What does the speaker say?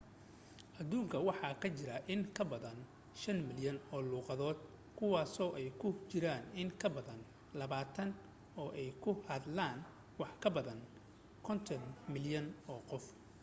aduunka waxa ka jira in ka badan 5,000 oo luuqadood kuwaasoo ay ku jiraan in ka badan labaatan ay ku hadlaan wax ka badan 50 malyan oo qof